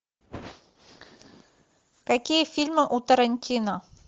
какие фильмы у тарантино